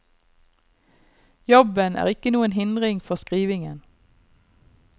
Jobben er ikke noen hindring for skrivingen.